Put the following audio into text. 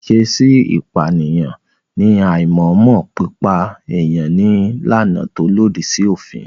Ìṣèèṣi pààyàn ní àìmọ̀ọ́mọ̀ pípa èèyàn ní làànà tó lòdì sí òfin.